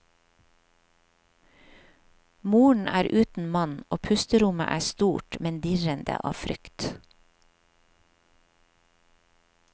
Moren er uten mann og pusterommet er stort men dirrende av frykt.